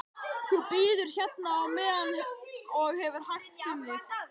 Þú bíður hérna á meðan og hefur hægt um þig.